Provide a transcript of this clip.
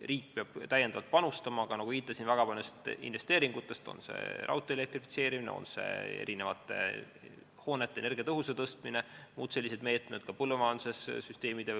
Riik peab täiendavalt panustama, ma viitasin väga paljudele investeeringutele, on see raudtee elektrifitseerimine, on see hoonete energiatõhususe parandamine või muud sellised meetmed, ka põllumajandussüsteemide